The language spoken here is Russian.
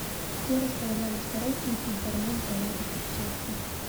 где располагались король и придворные в балладе перчатка